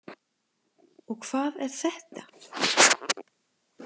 Og hvað er þetta?